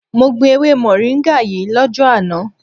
Mo gbin ewe moringa yii lojo ana